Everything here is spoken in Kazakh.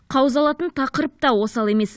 қаузалатын тақырып та осал емес